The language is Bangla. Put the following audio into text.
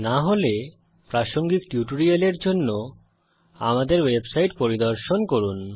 না হলে প্রাসঙ্গিক টিউটোরিয়ালের জন্য আমাদের ওয়েবসাইট পরিদর্শন করুন